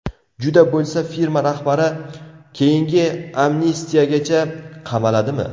Juda bo‘lsa firma rahbari keyingi amnistiyagacha qamaladimi?